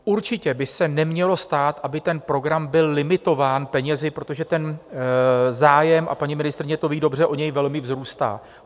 Určitě by se nemělo stát, aby ten program byl limitován penězi, protože ten zájem, a paní ministryně to ví dobře, o něj velmi vzrůstá.